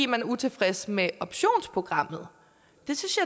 man er utilfreds med det synes